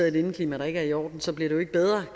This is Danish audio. i et indeklima der ikke er i orden så bliver det ikke bedre